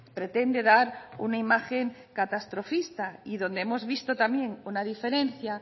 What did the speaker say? pretende dar una imagen catastrofista y donde hemos visto también una diferencia